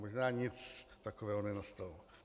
Možná nic takového nenastalo.